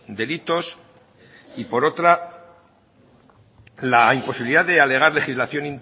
delitos y por otra la imposibilidad de alegar legislación